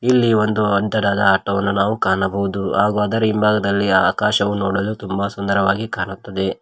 ಇಲ್ಲಿ ಒಂದು ಅಂತರದ ಆಟೋ ವನ್ನು ನಾವು ಕಾಣಬಹುದು ಹಾಗೂ ಅದರ ಹಿಂಭಾಗದಲ್ಲಿ ಆಕಾಶವೂ ನೋಡಲು ತುಂಬಾ ಸುಂದರವಾಗಿ ಕಾಣುತ್ತದೆ.